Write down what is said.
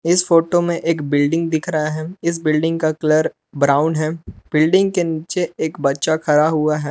इस फोटो में एक बिल्डिंग दिख रहा है इस बिल्डिंग का कलर ब्राउन है बिल्डिंग के नीचे एक बच्चा खरा हुआ है।